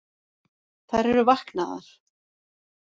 Þær eru vaknaðar